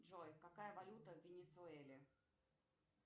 джой какая валюта в венесуэле